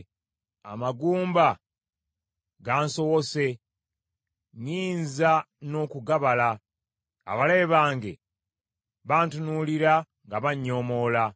Amagumba gansowose nnyinza n’okugabala. Abalabe bange bantunuulira nga bannyoomoola.